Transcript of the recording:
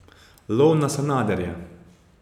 Lov na Sanaderja.